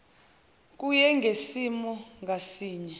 kuye ngesimo ngasinye